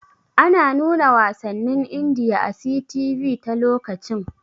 Ana nuna wasannin Indiya a 'CTV' ta lokacin.